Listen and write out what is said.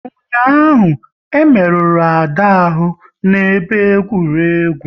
Ụnyaahụ, e merụrụ Ada ahụ n'ebe egwuregwu